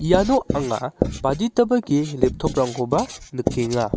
iano anga baditaba ge laptop-rangkoba nikenga.